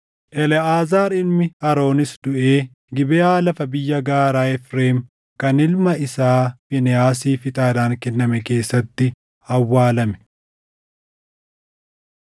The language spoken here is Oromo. Eleʼaazaar ilmi Aroonis duʼee Gibeʼaa lafa biyya gaaraa Efreem kan ilma isaa Fiinehaasiif ixaadhaan kenname keessatti awwaalame.